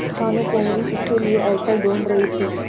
और भानुकुँवरि इसके लिए अवसर ढूँढ़ रही थी